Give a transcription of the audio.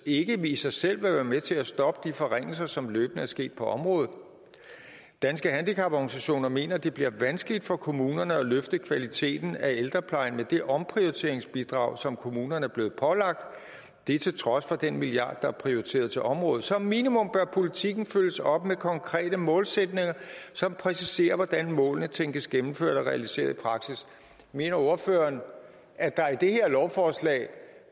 ikke i sig selv vil være med til at stoppe de forringelser som løbende er sket på området danske handicaporganisationer mener at det bliver vanskeligt for kommunerne at løfte kvaliteten af ældreplejen med det omprioriteringsbidrag som kommunerne er blevet pålagt det til trods for den milliard der er prioriteret til området som minimum bør politikken følges op med konkrete målsætninger som præciserer hvordan målene tænkes gennemført og realiseret i praksis mener ordføreren at der i det her lovforslag